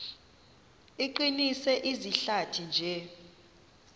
iqinise izihlathi nje